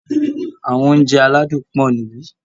Àwọn Oúnjẹ aládùn pọ̀ níbí